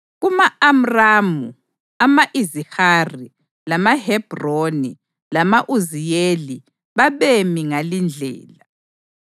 Kuma-Amramu, ama-Izihari, lamaHebhroni lama-Uziyeli babemi ngalindlela: